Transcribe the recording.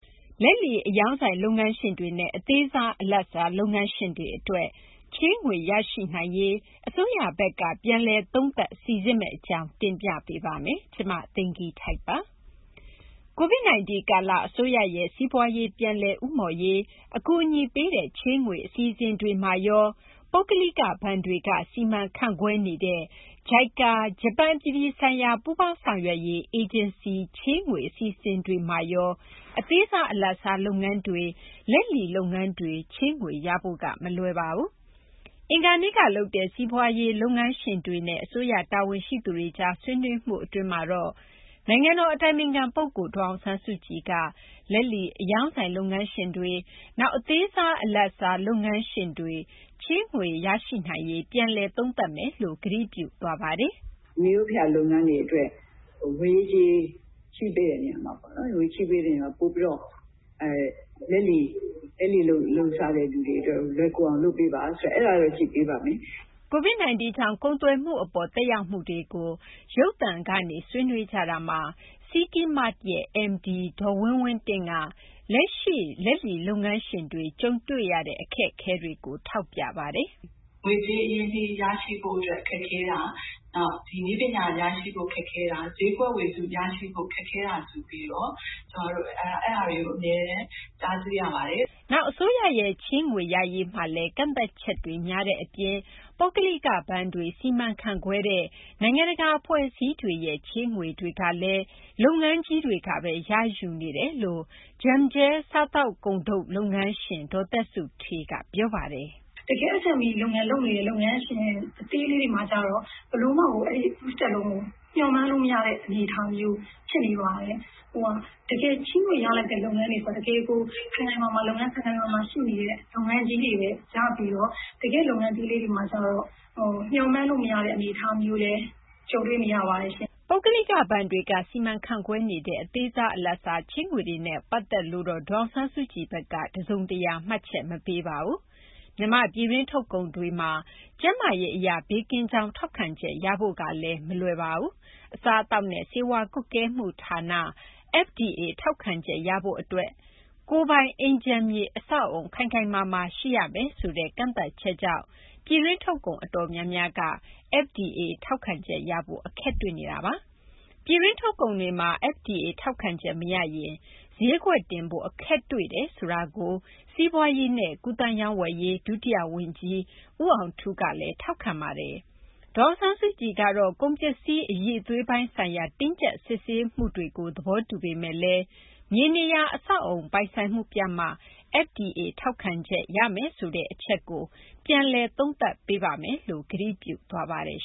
လက်လီ အရောင်းဆိုင် လုပ်ငန်းရှင်တွေနဲ့ အသေးစား အလတ်စား လုပ်ငန်းရှင်တွေ အတွက် ချေးငွေ ရရှိနိုင်ရေး အစိုးရ ဘက်က ပြန်လည် သုံးသပ် စိစစ်မယ့် အကြောင်းကို မ သိင်္ဂ ီထိုက် တင်ပြပေးမှာပါ။ COVID-19 ကာလ အစိုးရရဲ့ စီးပွားရေး ပြန်လည် ဦးမော့ရေး အကူအညီပေးတဲ့ ချေးငွေ အစီအစဉ်တွေမှာရော၊ ပုဂ္ဂလိက ဘဏ်တွေက စီမံခန့်ခွဲနေတဲ့ JICA - ဂျပန် အပြည်ပြည်ဆိုင်ရာ ပူးပေါင်းဆောင်ရွက်ရေး အေဂျင်စီ ချေးငွေ အစီအစဉ်တွေမှာရော အသေးစား အလတ်စား လုပ်ငန်းတွေ၊ လက်လီ လုပ်ငန်းတွေ ချေးငွေရဖို့က မလွယ်ပါဘူး။ အင်္ဂါနေ့က လုပ်တဲ့ စီးပွားရေး လုပ်ငန်းရှင်တွေနဲ့ အစိုးရ တာဝန်ရှိသူတွေကြား ဆွေးနွေးမှု အတွင်းမှာတော့ နိုင်ငံတော် အတိုင်ပင်ခံ ပုဂ္ဂိုလ် ဒေါ်အောင်ဆန်းစုကြည်က လက်လီအရောင်းဆိုင် လုပ်ငန်းရှင်တွေ၊ နောက် အသေးစား အလတ်စား လုပ်ငန်းရှင်တွေ ချေးငွေ ရရှိနိုင်ရေး ပြန်လည် သုံးသပ်မယ်လို့ ကတိပြုသွားပါတယ်။ “ မိရိုးဖလာ လုပ်ငန်းတွေ အတွက် ငွေရေး ကြေးရေး ချေးပေးတဲ့ နေရာမှာ လက်လီလုပ်စားတဲ့ သူတွေ အတွက် ပိုပြီး လွယ်ကူအောင် လုပ်ပေးပါ ဆိုတာတော့ အဲဒါတော့ ကြည့်ပေးပါမယ်။” COVID 19 ကြောင့် ကုန်သွယ်မှု အပေါ် သက်ရောက်မှုတွေကို ရုပ်သံကနေ ဆွေးနွေးခဲ့ကြတာမှာ City Mart ရဲ့ MD ဒေါ်ဝင်းဝင်းတင့်က လက်ရှိ လက်လီလုပ်ငန်းရှင်တွေ ကြုံတွေ့ရတဲ့ အခက်အခဲတွေကို ထောက်ပြခဲ့ပါတယ်။ “ ငွေကြေး အရင်းအနှီး ရရှိဖို့ အတွက် ခက်ခဲတာ၊ နောက် နည်းပညာ ရရှိဖို့ ခက်ခဲတာ၊ ဈေးကွက်ဝေစု ရဖို့ ခက်ခဲတာ ဆိုပြီးတော့ ကျမတို့ အဲဒါတွေ အမြဲတမ်း ကြားသိရပါတယ်။ ” နောက် အစိုးရရဲ့ ချေးငွေ ရရေးမှာလည်း ကန့်သတ်ချက်တွေ များတဲ့ အပြင် ပုဂ္ဂလိက ဘဏ်တွေ စီမံခန့်ခွဲတဲ့ နိုင်ငံတကာ အဖွဲ့အစည်းတွေရဲ့ ချေးငွေကလည်း လုပ်ငန်းကြီးတွေကဘဲ ရယူနေတယ်လို့ Jumjel စားသောက်ကုန်ထုတ် လုပ်ငန်းရှင် ဒေါ်သက်စုဌေးက ပြောပါတယ်။ “ တကယ့် SME လုပ်နေတဲ့ လုပ်ငန်းရှင် အသေးလေးတွေမှာကျတော့ ဘယ်လိုမှကို Two Steps loan ကို မျှော်မှန်းလို့ မရတဲ့ အနေအထားမျိုး ဖြစ်နေပါတယ်။ တကယ် ချေးငွေ ရတဲ့ လုပ်ငန်းတွေကျ တကယ် လုပ်ငန်း ခိုင်ခိုင်မာမာ ရှိနေတဲ့ လုပ်ငန်းကြီးတွေဘဲ ရပြီးတော့ တကယ့် လုပ်ငန်းသေးလေးတွေမှာ ကျတော့ မျှော်မှန်းလို့ မရတဲ့ အနေအထားနဲ့ ကြုံတွေ့နေရပါတယ်ရှင့်။ ” ပုဂ္ဂလိက ဘဏ်တွေက စီမံခန့်ခွဲနေတဲ့ အသေးစား အလတ်စား ချေးငွေတွေနဲ့ ပတ်သက်လို့တော့ ဒေါ်အောင်ဆန်းစုကြည်ဘက်က တစုံတရာ မှတ်ချက် မပေးပါဘူး။ မြန်မာ့ ပြည်တွင်း ထုတ်ကုန်တွေမှာ ကျန်းမာရေး အရ ဘေးကင်းကြောင်း ထောက်ခံချက်ရဖို့ကလည်း မလွယ်ကူပါဘူး။ စားအသောက်နဲ့ ဆေးဝါး ကွပ်ကဲမှု ဌာန FDA ထောက်ခံချက် ရဖို့အတွက်ရော ကိုယ်ပိုင် အိမ်ခြံမြေ အဆောက်အအုံ ခိုင်ခိုင်မာမာ ရှိရမယ်ဆိုတဲ့ ကန့်သတ်ချက်ကြောင့် ပြည်တွင်းထုတ်ကုန် အတော်များများ FDA ထောက်ခံချက် ရဖို့ အခက်တွေ့နေတာပါ။ ပြည်တွင်း ထုတ်ကုန်တွေမှာ FDA ထောက်ခံချက် မရရင် ဈေးကွက်တင်ဖို့ အခက်တွေ့တယ်ဆိုတာကို စီးပွားရေးနဲ့ ကူးသန်းရောင်းဝယ်ရေး ဒုတိယ ဝန်ကြီး ဦးအောင်ထူးကလည်း ထောက်ခံပါတယ်။ ဒေါ်အောင်ဆန်းစုကြည် ကတော့ ကုန်ပစ္စည်း အရည်အသွေးပိုင်း ဆိုင်ရာ တင်းကြပ် စစ်ဆေးမှုတွေကို သဘောတူပေမယ့်လည်း မြေနေရာ အဆောက်အအုံ ပိုင်ဆိုင်မှုပြမှ FDA ရမယ်ဆိုတဲ့ အချက်ကို ပြန်လည် သုံးသပ်မယ်လို့ ကတိပြုသွားပါတယ်